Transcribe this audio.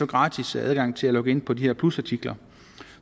gratis adgang til at logge ind på de her plusartikler